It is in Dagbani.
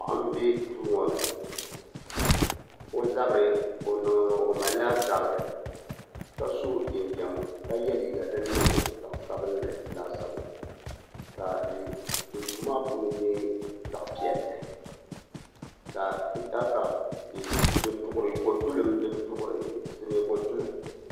Paɣa n bɛ duu ŋo ni o mala zabiri ka so jinjam ka ye liiga din niŋ zaɣ' sabinli laasabu ka duu maa puuni nyɛ zaɣ' piɛli ka hita kapi din hiitiri ko tulim bɛ dini